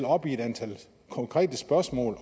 op i et antal konkrete spørgsmål